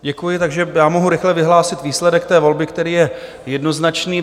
Děkuji, takže já mohu rychle vyhlásit výsledek té volby, který je jednoznačný.